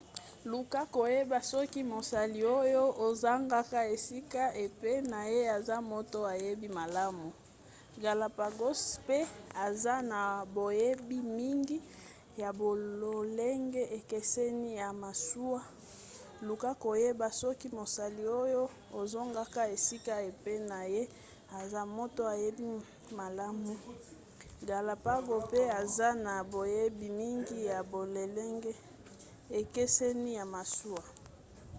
luka koyeba soki mosali oyo ozokanga esika epai na ye aza moto ayebi malamu galapagos mpe aza na boyebi mingi ya bololenge ekeseni ya masuwa.luka koyeba soki mosali oyo ozokanga esika epai na ye aza moto ayebi malamu galapagos mpe aza na boyebi mingi ya bololenge ekeseni ya masuwa